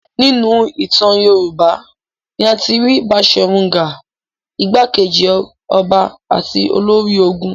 Nínú ìtàn Yorùbá ni a ti rí Baṣọ̀run Gáà, ìgbákejì ọba àti olórí ogun.